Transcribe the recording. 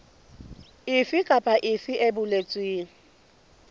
efe kapa efe e boletsweng